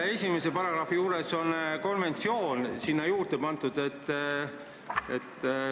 Esimeses paragrahvis on sõna "konventsioon" juurde pandud.